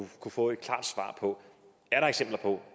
få et klart svar på er der eksempler på